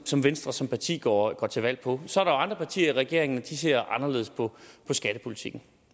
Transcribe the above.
som venstre som parti går til valg på så andre partier i regeringen og de ser anderledes på skattepolitikken